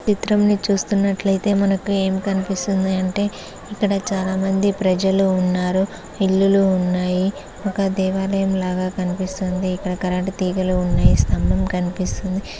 ఈ చిత్రంలో చూస్తున్నట్లయితే మనకి ఏం కనిపిస్తున్నాయంటే ఇక్కడ చాలామంది ప్రజలు ఉన్నారు ఇల్లులు ఉన్నాయి ఒక దేవాలయం లాగా కనిపిస్తుంది ఇక్కడ కరెంటు తీగలు ఉన్నాయి స్తంభం కనిపిస్తుంది.